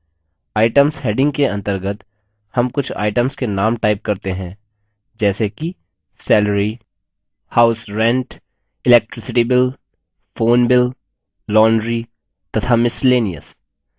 items heading के अंतर्गत names कुछ items के names type करते हैं जैसे कि salary house rent electricity bill phone bill laundry तथा miscellaneous